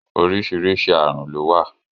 Oríṣìíríṣìí ààrùn ló wà.